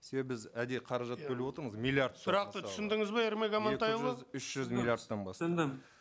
себебі біз әдейі қаражат бөліп отырмыз миллиардтар сұрақты түсіндіңіз бе ермек амантайұлы түсіндім